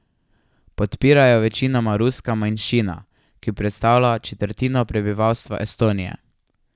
Podpira jo večinoma ruska manjšina, ki predstavlja četrtino prebivalstva Estonije.